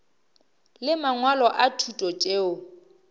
le mangwalo a thuto tšeo